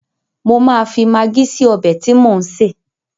Mo máa fi magí sí ọbẹ̀ tí mò ń sè.